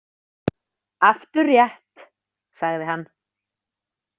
Aftur rétt, sagði hann.